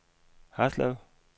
Haslev